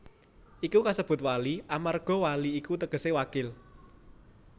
Iku kasebut Wali amarga wali iku tegese Wakil